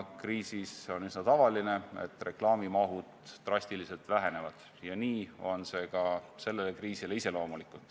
Kriisi ajal on aga üsna tavaline, et reklaamimaht drastiliselt väheneb, see on ka sellele kriisile iseloomulik.